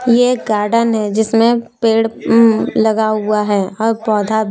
ये गार्डन है जिसमें पेड़ लगा हुआ है और पौधा भी--